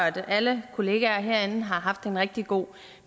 at alle kollegaer herinde har haft en rigtig god